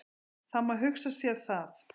Það má hugsa sér það.